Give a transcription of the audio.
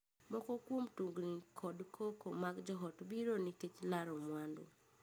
Moko kuom tungni kod koko mag joot biro nikech laro mwandu.